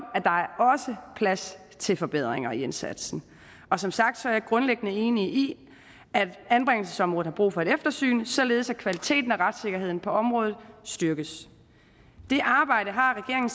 plads til forbedringer i indsatsen og som sagt er jeg grundlæggende enig i at anbringelsesområdet har brug for et eftersyn således at kvaliteten og retssikkerheden på området styrkes det arbejde har regeringen